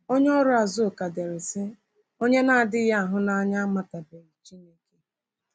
Onye ọrụ Azuka dere, sị: “Onye na-adịghị ahụnanya amatabeghị Chineke.”